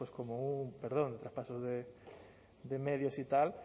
como un perdón traspaso de medios y tal